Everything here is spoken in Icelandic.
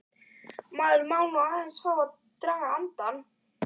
Maður má nú aðeins fá að draga andann!